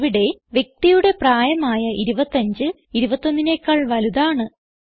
ഇവിടെ വ്യക്തിയുടെ പ്രായം ആയ 25 21നെക്കാൾ വലുതാണ്